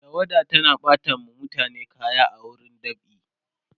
tawada tana ɓata wa mutane kaya a wurin dab'i